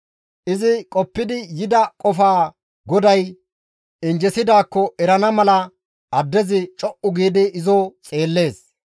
Izi qoppidi yida qofaa GODAY injjesidaakko erana mala addezi co7u giidi izo xeellees.